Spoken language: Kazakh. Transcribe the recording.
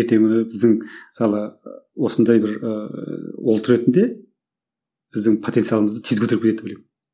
ертеңгі күні біздің мысалы осындай бір ыыы ұлт ретінде біздің потенциалымызды тез көтеріп кетеді деп ойлаймын